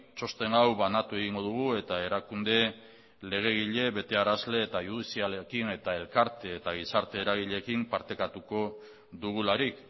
txosten hau banatu egingo dugu eta erakunde legegile betearazle eta judizialekin eta elkarte eta gizarte eragileekin partekatuko dugularik